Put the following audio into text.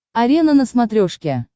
арена на смотрешке